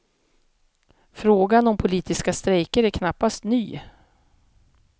Frågan om politiska strejker är knappast ny.